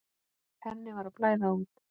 Henni var að blæða út.